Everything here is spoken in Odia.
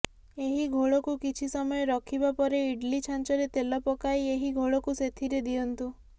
ଏହି ଘୋଳକୁ କିଛି ସମୟ ରଖିବା ପରେ ଇଡଲି ଛାଞ୍ଚରେ ତେଲ ପକାଇ ଏହି ଘୋଳକୁ ସେଥିରେ ଦିଅନ୍ତୁ